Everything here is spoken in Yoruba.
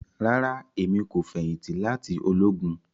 Rara, Emi ko feyinti lati ologun